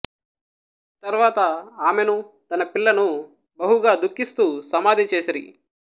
తర్వాత ఆమెను తన పిల్లను బహుగా దుఃఖిస్తూ సమాధి చేసిరి